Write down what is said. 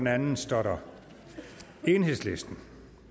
andet står der enhedslisten